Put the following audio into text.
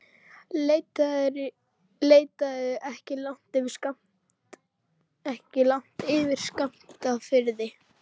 Leitaðu ekki langt yfir skammt að friði.